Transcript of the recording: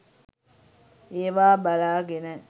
ඒවා බලාගෙන